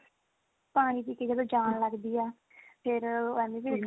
ਪਾਣੀ ਪੀ ਕੇ ਜਦੋਂ ਜਾਣ ਲੱਗਦੀ ਆ ਫੇਰ ਉਹ ਐਮੀ ਵਿਰਕ